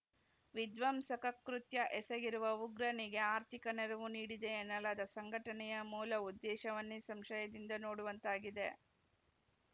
ವಿಧ್ವಂಸಕ ಕೃತ್ಯ ಎಸಗಿರುವ ಉಗ್ರನಿಗೆ ಆರ್ಥಿಕ ನೆರವು ನೀಡಿದೆ ಎನ್ನಲಾದ ಸಂಘಟನೆಯ ಮೂಲ ಉದ್ದೇಶವನ್ನೇ ಸಂಶಯದಿಂದ ನೋಡುವಂತಾಗಿದೆ